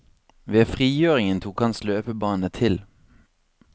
Ved frigjøringen tok hans løpebane til.